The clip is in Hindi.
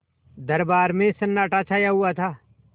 दरबार में सन्नाटा छाया हुआ था